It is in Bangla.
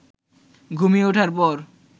ঘুমিয়ে ওঠার পর